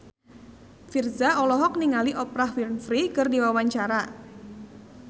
Virzha olohok ningali Oprah Winfrey keur diwawancara